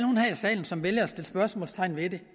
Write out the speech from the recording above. salen som vælger at sætte spørgsmålstegn ved det